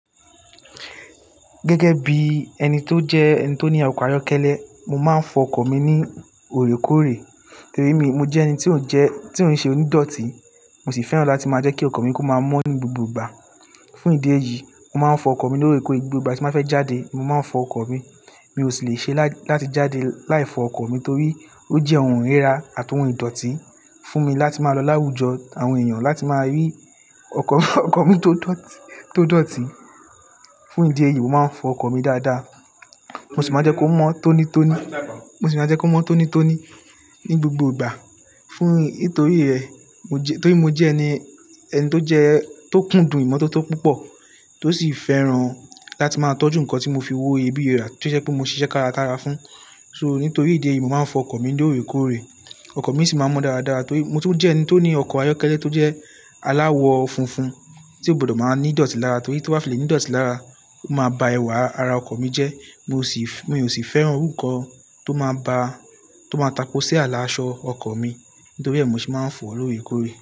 Gẹ́gẹ́ bí ẹni tó jẹ́ ẹni tó ní ọkọ̀ ayọ́kẹ́lẹ́, mo máa ń fọ ọkọ̀ mi ní òrékóòrè torí mo jẹ́ ẹni tí ò ń jẹ́, tí ò ń ṣe onídọtí, mo sì fẹ́ràn láti máa jẹ́ kí ọkọ̀ mi kó máa mọ́ ní gbogbo ìgbà. Fún ìdí èyí, mo máa ń fọ ọkọ̀ mi lórekore gbogbo ìgbà tí mo bá fẹ́ jáde, mo máa ń fọ ọkọ̀ mi. Mi ò sì lè ṣe láti jáde láì fọ ọkọ̀ mi torí ó jẹ́ ohun ìríra àtohun ìdọ̀tí fún mi láti máa lọ láwùjọ àwọn èèyàn láti máa rí ọkọ̀, ọkọ̀ mi tó dọ̀tì, tó dọ̀tí. Fún ìdí èyí, mo máa ń fọ ọkọ̀ mi dáadáa. Mo sì máa jẹ́ kó mọ́ tónítóní, mo sì máa jẹ́ kó mọ́ tónítóní ní gbogbo ìgbà. Fún nítorí rẹ̀, mo jẹ-- torí mo jẹ́ ẹni, ẹni tó jẹ́, tó kúdùn ìmọ́tótó púpọ̀ tó sì fẹ́ràn láti máa tọ́jú nǹkan tí mo fi owó iyebíye rà tó jẹ́ pé mo ṣiṣẹ́ kárakára fún. So nítorí ìdí èyí, mo máa ń fọ ọkọ̀ mi lóore kóòrè. Ọkọ̀ mi sì máa mọ́ dáadáa torí mo tún jẹ́ ẹni tó ní ọkọ̀ ayọ́kẹ́lẹ́ tó jẹ́ aláwọ̀ funfun tí ó gbọdọ̀ máa ní ìdọ̀tí lára torí tí ó bá fi lè ní ìdọ̀tí lára, ó máa ba ẹwà ara ọkọ̀ mi jẹ́. Mo sì fẹ-- mi ò sì fẹ́ ohun nǹkan tó máa ba, tó máa taposí ààlà aṣọ ọkọ̀ mi. Nítorí ẹ, mo ṣe máa ń fọ lòrékóòrè.